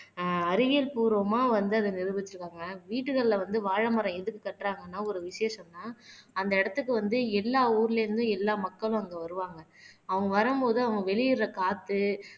ஆஹ் அறிவியல் பூர்வமா வந்து அத நிரூபிச்சிருக்காங்க. வீடுகள்ல வந்து வாழைமரம் எதுக்கு கட்டுறாங்கன்னா ஒரு விசேஷம்ன்னா அந்த இடத்துக்கு வந்து எல்லா ஊர்ல இருந்தும் எல்லா மக்களும் அங்க வருவாங்க அவங்க வரும்போது அவங்க வெளியிடுற காத்து